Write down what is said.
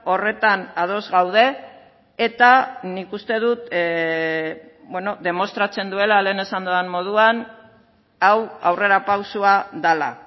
horretan ados gaude eta nik uste dut demostratzen duela lehen esan dudan moduan hau aurrerapausoa dela